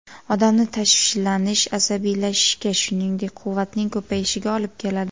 Odamni tashvishlanish, asabiylashishga, shuningdek, quvvatning ko‘payishiga olib keladi.